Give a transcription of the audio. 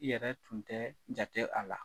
I yɛrɛ tun tɛɛ jate a la.